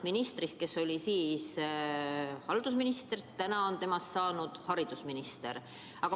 Ministrist, kes oli siis riigihalduse minister, on saanud nüüd haridusminister.